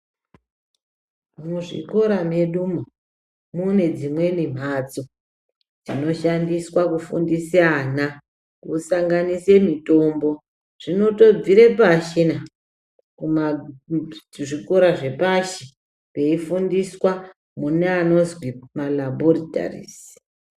Muzvikora medumo mune dzimweni mhatso dzinoshandiswa kufundisa ana kusanganise mutombo zvinotobvire pashi na, zvikora zvepashi veifundiswa kune anozwi malabhoritarizi.